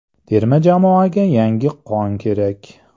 Terma jamoaga yangi qon kerak.